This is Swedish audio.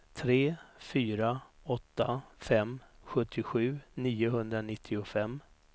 tre fyra åtta fem sjuttiosju niohundranittiofem